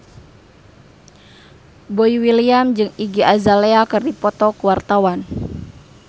Boy William jeung Iggy Azalea keur dipoto ku wartawan